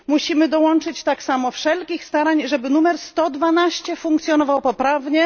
Musimy tak samo dołożyć wszelkich starań, żeby numer 112 funkcjonował poprawnie.